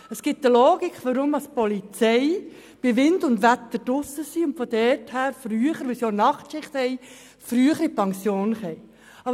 Es gibt eine Logik, wonach die Polizei, weil sie bei Wind und Wetter draussen ist und Nachtschichten absolviert, früher in die Pension geht.